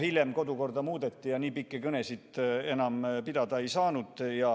Hiljem kodukorda muudeti ja nii pikki kõnesid enam pidada ei saanud.